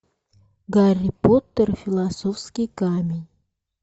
гарри поттер философский камень